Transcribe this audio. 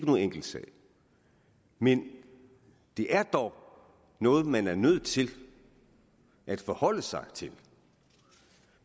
nogen enkelt sag men det er dog noget man er nødt til at forholde sig til